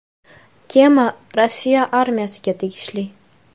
Kema Rossiya armiyasiga tegishli.